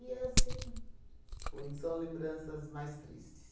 E assim, foi são lembranças mais tristes.